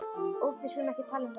Úff, við skulum ekki tala um það.